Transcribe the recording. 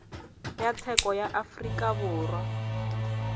ya tsheko ya afrika borwa